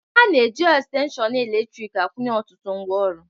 A na-eji estenshịon eletrịk akwunye ọtụtụ ngwaọrụ.